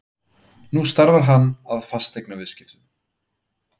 Nú starfar hann að fasteignaviðskiptum.